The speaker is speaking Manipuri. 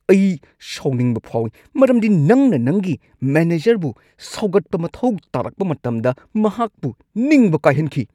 ꯑꯩ ꯁꯥꯎꯅꯤꯡꯕ ꯐꯥꯎꯏ ꯃꯔꯝꯗꯤ ꯅꯪꯅ ꯅꯪꯒꯤ ꯃꯦꯅꯦꯖꯔꯕꯨ ꯁꯧꯒꯠꯄ ꯃꯊꯧ ꯇꯥꯔꯛꯄ ꯃꯇꯝꯗ ꯃꯍꯥꯛꯄꯨ ꯅꯤꯡꯕ ꯀꯥꯏꯍꯟꯈꯤ ꯫​